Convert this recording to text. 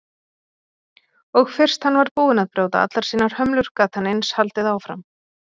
Og fyrst hann var búinn að brjóta allar sínar hömlur gat hann eins haldið áfram.